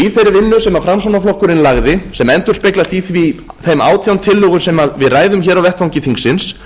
í þeirri vinnu sem framsóknarflokkurinn lagði sem endurspeglast i þeim átján tillögum sem við ræðum hér á vettvangi þingsins